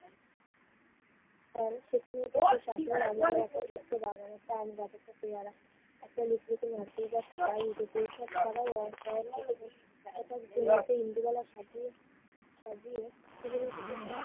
ফল। উঠানের পাশে শাশুড়ির লাগানো একটা ছোট্ট বাগান। একটা আম গাছ, একটা পেয়ারা একটা লিচু, একটা নারকেল গাছ এসব ছাড়াও ইন্দুবালার সাথী সাজিয়ে